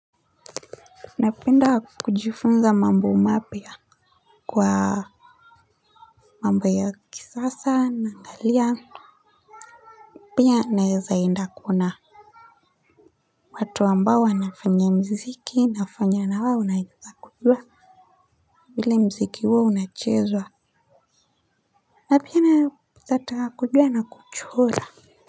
Napenda kujifunza mambo mapya kwa mambo ya kisasa, naangalia, pia naweza enda kuona. Watu ambao wanafanya mziki, inafanya na wewe unaweza kujua vile mziki huo unachezwa na pia naweza taka kujua na kuchora.